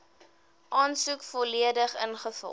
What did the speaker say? aansoek volledig ingevul